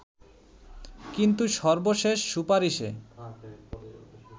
কিন্তু সর্বশেষ সুপারিশে